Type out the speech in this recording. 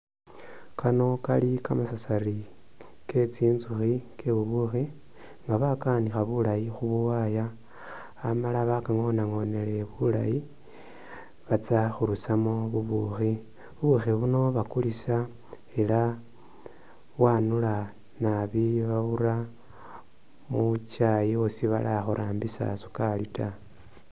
Kano kali kamasasari ke tsitsukhi ke bubuukhi nga bakawanikha bulaayi khu khawaya amala bakangonangonele bulaayi batsa khurusamo bubukhi , bubukhi buno bakulisa ela bwanula naabi babura mukyaayi lusi batakhurambisa sukaali taa .